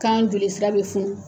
Kan joli sira bɛ funu.